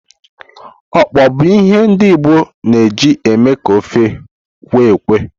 Okpor bụ ihe ndi Igbo na eji eme ka ofe kwe-ekwe.